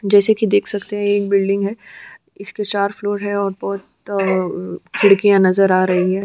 जैसा कि देख सकते हैं यह एक बिल्डिंग है इसके चार फ्लोर है और बहुत खिड़कियां नज़र आ रही हैं।